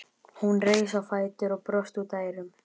Hún reis á fætur og brosti út að eyrum.